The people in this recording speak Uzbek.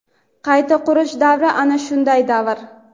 qayta qurish davri ana shunday davr.